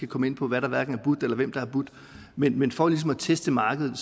komme ind på hvad der er budt eller hvem der har budt men men for ligesom at teste markedet